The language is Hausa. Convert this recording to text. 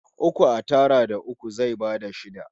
Uku a tara da uku zai bada shida